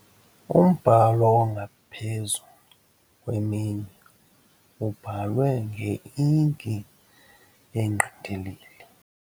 Umbhalo ongaphezu kweminye ububhalwe ngeinki engqindilili.